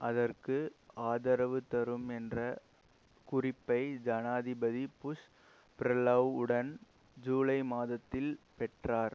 அதற்கு ஆதரவு தரும் என்ற குறிப்பை ஜனாதிபதி புஷ் பிரெலோஉடன் ஜூலை மாதத்தில் பெற்றார்